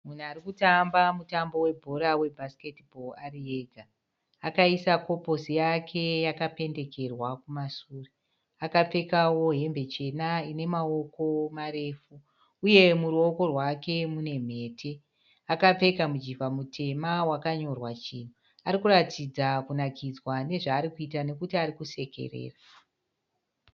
Munhu arikutamba mutambo we bhora we basketball ari ega . Akaisa koposi yaka yakapendekerwa kumasure. Akapfekawo hembe chena ine maoko marefu. Uye muruoko rwake mune mhete. Akapfeka mujivha mutema wakanyorwa chinhu. Arikuratidza kunakidzwa nezvaari kuita nokuti arikusekerera.